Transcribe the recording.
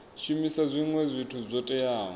shumisa zwinwe zwithu zwo teaho